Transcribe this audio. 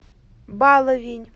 баловень